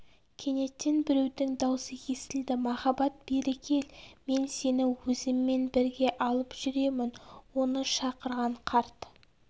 кенеттен біреудің даусы естілді махаббат бері кел мен сені өзіммен бірге алып жүремін оны шақырған қарт